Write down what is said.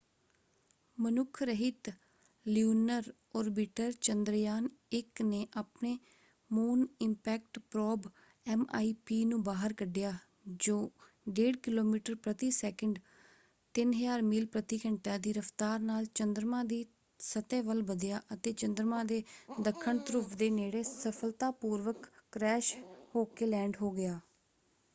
ਮਨੁੱਖ ਰਹਿਤ lunar orbiter Chandrayaan one ਨੇ ਆਪਣੇ ਮੂਨ ਇਪੈਕਟ ਪ੍ਰੋਬ ਐਮਆਈਪੀ ਨੂੰ ਬਾਹਰ ਕੱਢਿਆ ਜੋ 1.5 ਕਿਲੋਮੀਟਰ ਪ੍ਰਤੀ ਸੈਕਿੰਡ 3000 ਮੀਲ ਪ੍ਰਤੀ ਘੰਟਾ ਦੀ ਰਫਤਾਰ ਨਾਲ ਚੰਦਰਮਾ ਦੀ ਸਤਹ ਵੱਲ ਵਧਿਆ ਅਤੇ ਚੰਦਰਮਾ ਦੇ ਦੱਖਣ ਧਰੁਵ ਦੇ ਨੇੜੇ ਸਫਲਤਾਪੂਰਵਕ ਕ੍ਰੈਸ਼ ਹੋਕੇ ਲੈਂਡ ਹੋ ਗਿਆ।